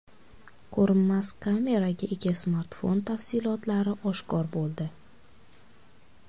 Ko‘rinmas kameraga ega smartfon tafsilotlari oshkor bo‘ldi.